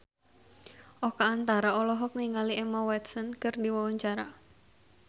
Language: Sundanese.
Oka Antara olohok ningali Emma Watson keur diwawancara